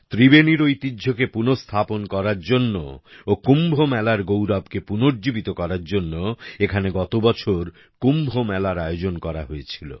ত্রিবেনীর ঐতিহ্যকে পুনঃস্থাপন করার জন্য ও কুম্ভ মেলার গৌরবকে পুনর্জীবিত করার জন্য এখানে গতবছর কুম্ভ মেলার আয়োজন করা হয়েছিল